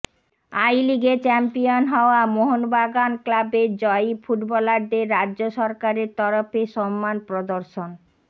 I লিগে champion হওয়া মোহনবাগান ক্লাবের জয়ী ফুটবলারদের রাজ্য সরকারের তরফে সম্মান প্রদর্শন